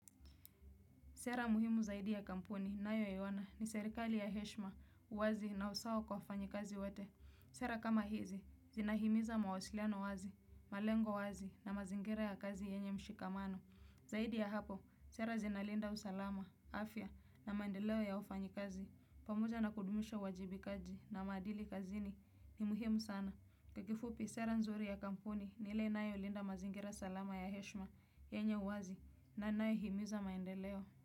Sera muhimu zaidi ya kampuni, nayo yawana ni serikali ya heshma, uwazi na usawo kwa fanyi kazi wete. Sera kama hizi, zina himiza mawasiliano wazi, malengo wazi na mazingira ya kazi yenye mshikamano. Zaidi ya hapo, sera zina linda usalama, afya na mandeleo ya ufanyi kazi. Pamuja na kudumisha wajibikaji na madili kazini ni muhimu sana. Kekifupi, sera nzuri ya kampuni ni le nayo linda mazingira salama ya heshma, yenye uwazi na nayo himiza maendeleo.